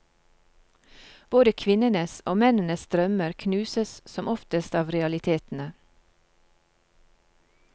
Både kvinnenes og mennenes drømmer knuses som oftest av realitetene.